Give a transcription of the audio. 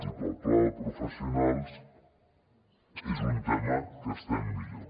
i sobre el pla de professionals és un tema en què estem millor